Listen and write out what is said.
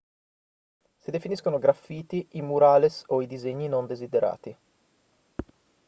si definiscono graffiti i murales o i disegni non desiderati